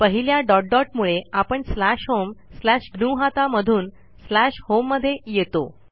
पहिल्या dot dot मुळे आपण स्लॅश होम स्लॅश ग्नुहता मधून स्लॅश होम मध्ये येतो